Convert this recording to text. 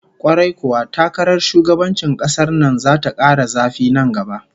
Kwarai kuwa, takarar shugabancin kasar nan zata kara zafi nan gaba